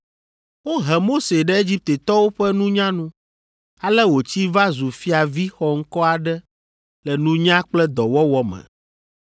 Wohe Mose ɖe Egiptetɔwo ƒe nunya nu, ale wòtsi va zu fiavi xɔŋkɔ aɖe le nunya kple dɔwɔwɔ me.